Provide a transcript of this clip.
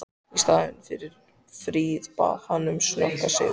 Í staðinn fyrir frið bað hann um snöggan sigur.